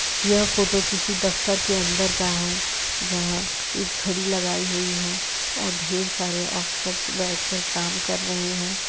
यह फोटो किसी दफ्तर के अंदर का है जहां एक घड़ी लगाई हुई है और ढ़ेर सारे ऑफिसर्स बैठकर काम कर रहे हैं।